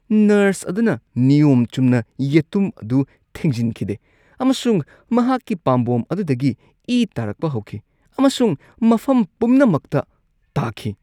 Nurse ꯑꯗꯨꯅ ꯅꯤꯌꯣꯝ ꯆꯨꯝꯅ ꯌꯦꯇꯨꯝ ꯑꯗꯨ ꯊꯤꯡꯖꯤꯟꯈꯤꯗꯦ ꯑꯃꯁꯨꯡ ꯃꯍꯥꯛꯀꯤ ꯄꯥꯝꯕꯣꯝ ꯑꯗꯨꯗꯒꯤ ꯏ ꯇꯥꯔꯛꯄ ꯍꯧꯈꯤ ꯑꯃꯁꯨꯡ ꯃꯐꯝ ꯄꯨꯝꯅꯃꯛꯇ ꯇꯥꯈꯤ꯫